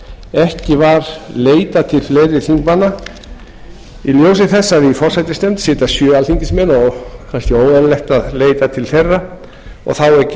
ekki var leitað til fleiri þingmanna í ljósi þess að í forsætisnefnd sitja sjö alþingismenn og kannski óeðlilegt að leita til þeirra og þá ekki